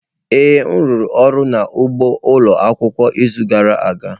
Ee m rụrụ ọrụ n'ugbo ụlọ akwụkwọ n'izu gara aga.